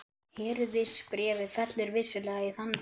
Hirðisbréfið fellur vissulega í þann flokk.